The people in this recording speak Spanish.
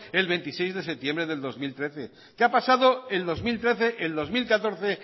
el veintiséis de septiembre del dos mil trece que ha pasado el dos mil trece el dos mil catorce